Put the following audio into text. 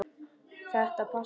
Þetta passar alveg.